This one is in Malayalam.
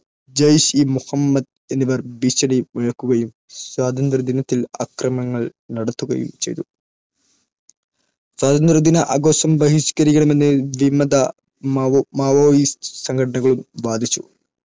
ജയ്ഷ്-ഇ-മുഹമ്മദ് എന്നിവർ ഭീഷണി മുഴക്കുകയും സ്വാതന്ത്ര്യദിനത്തിൽ ആക്രമണങ്ങൾ നടത്തുകയും ചെയ്തു. സ്വാതന്ത്ര്യദിന ആഘോഷം ബഹിഷ്‌കരിക്കണമെന്ന് വിമത Maoist സംഘടനകളും വാദിച്ചു.